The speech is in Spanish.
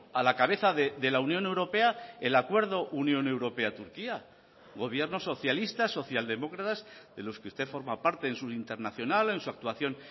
a la cabeza de la unión europea el acuerdo unión europea turquía gobierno socialista social demócratas de los que usted forma parte en su internacional en su actuación